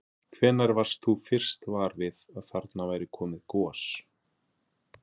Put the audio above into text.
Hvenær varst þú fyrst var við að þarna væri komið gos?